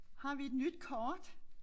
Har vi et nyt kort?